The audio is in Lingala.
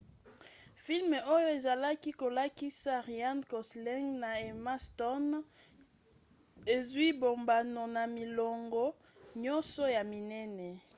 filme oyo ezalaki kolakisa ryan gosling na emma stone ezwi bambano na milongo nyonso ya minene